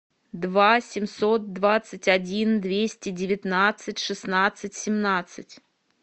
два семьсот двадцать один двести девятнадцать шестнадцать семнадцать